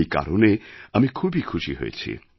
এই কারণে আমি খুবই খুশি হয়েছি